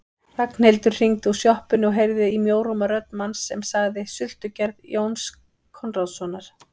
Ragnhildur hringdi úr sjoppunni og heyrði í mjóróma rödd manns sem sagði: Sultugerð Jóns Konráðssonar